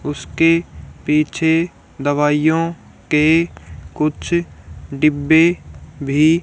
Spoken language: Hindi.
उसके पीछे दवाइयो के कुछ डिब्बे भी--